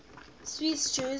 swiss jews